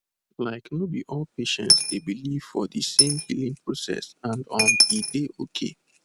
like no be all patients dey believe for de same healing process and um e dey okay